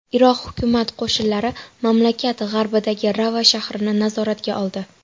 Iroq hukumat qo‘shinlari mamlakat g‘arbidagi Rava shahrini nazoratga oldi.